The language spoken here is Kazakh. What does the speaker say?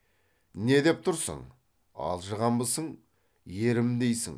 не деп тұрсың алжығанбысың ерім дейсің